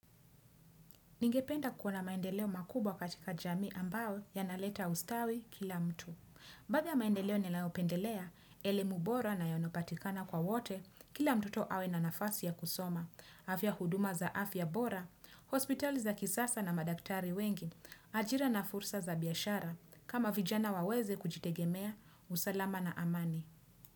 Ningependa kuona maendeleo makubwa katika jamii ambao yanaleta ustawi kila mtu. Baadhi ya maendeleo nilayopendelea, elemu bora na yanapatikana kwa wote, kila mtoto awe na nafasi ya kusoma. Afya huduma za afya bora, hospitali za kisasa na madaktari wengi, ajira na fursa za biashara, kama vijana waweze kujitegemea, usalama na amani.